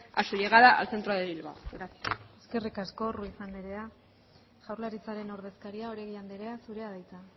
a su llegada al centro de bilbao gracias eskerrik asko ruiz andrea jaurlaritzaren ordezkaria oregi andrea zurea da hitza